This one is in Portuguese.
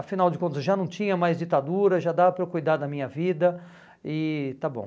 Afinal de contas, eu já não tinha mais ditadura, já dava para eu cuidar da minha vida e está bom.